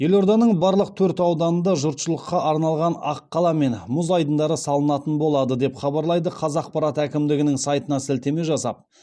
елорданың барлық төрт ауданында жұртшылыққа арналған аққала мен мұз айдындары салынатын болады деп хабарлайды қазақпарат әкімдіктің сайтына сілтеме жасап